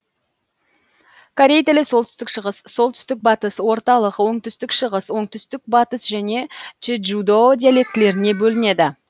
корей тілі солтүстік шығыс солтүстік батыс орталық оңтүстік шығыс оңтүстік батыс және чеджудо диалектілеріне бөлінеді